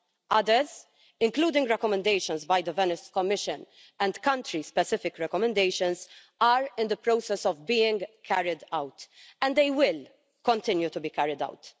Others, including recommendations by the Venice Commission and Country Specific Recommendations, are in the process of being carried out, and they will continue to be carried out.